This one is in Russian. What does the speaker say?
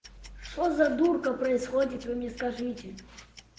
что за дурка происходит вы мне скажите